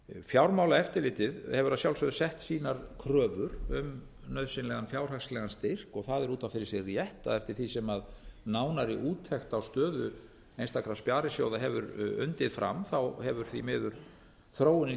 fjármálaeftirlitið hefur að sjálfsögðu sett sínar kröfur um nauðsynlegar fjárhagslegan styrk það er út af fyrir sig rétt að eftir því sem nánari úttekt á stöðu einstakra sparisjóða hefur undið fram hefur því miður þróunin